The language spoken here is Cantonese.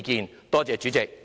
多謝代理主席。